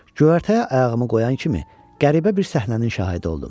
Göyərtəyə ayağımı qoyan kimi qəribə bir səhnənin şahidi oldum.